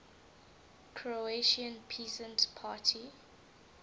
croatian peasant party